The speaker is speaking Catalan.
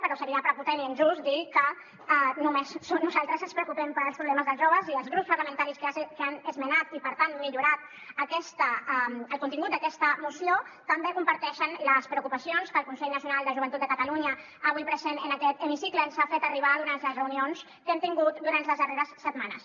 però seria prepotent i injust dir que només nosaltres ens preocupem pels problemes dels joves i els grups parlamentaris que han esmenat i per tant millorat el contingut d’aquesta moció també comparteixen les preocupacions que el consell nacional de la joventut de catalunya avui present en aquest hemicicle ens ha fet arribar durant les reunions que hem tingut durant les darreres setmanes